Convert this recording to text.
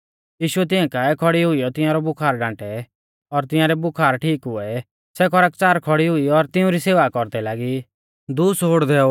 यीशुऐ तिंया काऐ खौड़ी हुईयौ तिंआरै बुखार डांटै और तिंआरै बुखार ठीक हुऐ सै खरकच़ार खौड़ी हुई और तिउंरी सेवा कौरदै लागी